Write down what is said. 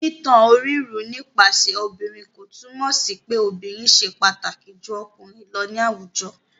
Títan orírun nípasẹ̀ obìnrin kò túmọ̀ sí pé obìnrin ṣe pàtàkì ju ọkùnrin lọ ní àwùjọ.